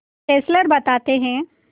Fessler बताते हैं